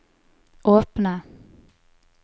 åpne